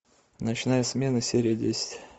ночная смена серия десять